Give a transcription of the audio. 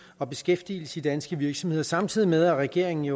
og beskæftigelse i danske virksomheder samtidig med at regeringen